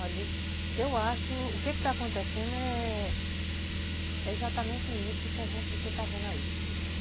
Olha, eu acho que o que está acontecendo é exatamente isso que a gente está vendo aí.